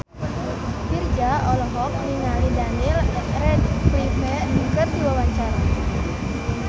Virzha olohok ningali Daniel Radcliffe keur diwawancara